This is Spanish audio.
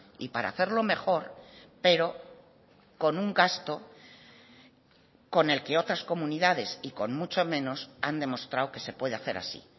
y para hacerlo mejor pero con un gasto con el que otras comunidades y con mucho menos han demostrado que se puede hacer así